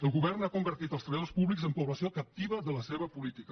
el govern ha convertit els treballadors públics amb població captiva de la seva política